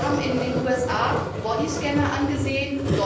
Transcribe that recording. Wir haben uns in den USA bodyscanner angesehen.